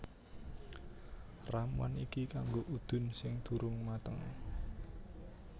Ramuan iki kanggo udun sing durung mateng